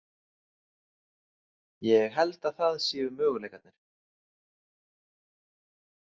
Ég held að það séu möguleikarnir.